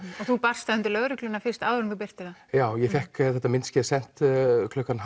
þú barst það undir lögregluna fyrst áður en þú birtir það já ég fékk þetta myndskeið sent klukkan